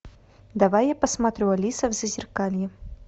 давай я посмотрю алиса в зазеркалье